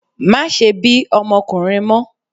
Má ṣe bí ọmọkùnrin mọ́!